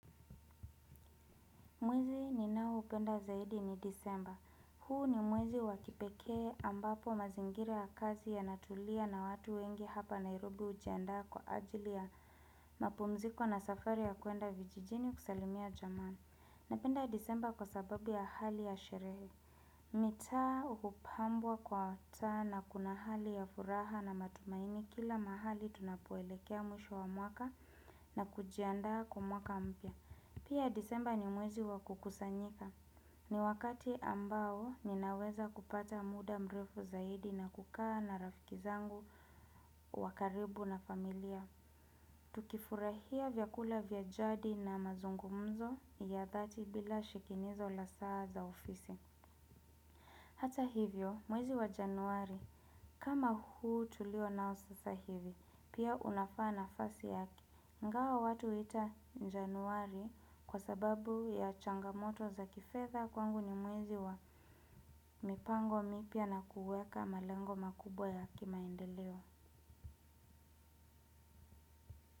Mwezi ninaoupenda zaidi ni Disemba. Huu ni mwezi wa kipekee ambapo mazingira ya kazi yanatulia na watu wengi hapa Nairobi hujiandaa kwa ajili ya mapumziko na safari ya kuenda vijijini kusalimia jamaa. Napenda Disemba kwa sababu ya hali ya sherehe. Mitaa hupambwa kwa hata na kuna hali ya furaha na matumaini kila mahali tunapoelekea mwisho wa mwaka na kujiandaa kwa mwaka mpya. Pia Disemba ni mwezi wa kukusanyika. Ni wakati ambao ninaweza kupata muda mrefu zaidi na kukaa na rafiki zangu wa karibu na familia. Tukifurahia vyakula vya jadi na mazungumzo ya dhati bila shikinizo la saa za ofisi. Hata hivyo, mwezi wa Januari, kama huu tulio nao sasa hivi, pia unafaa nafasi ya ingawa watu huita Njaanuari kwa sababu ya changamoto za kifedha kwangu ni mwezi wa mipango mipya na kuweka malengo makubwa ya kimaendeleo.